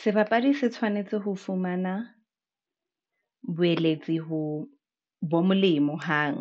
Sebapadi se tshwanetse ho fumana boeletsi ho bo molemo hang,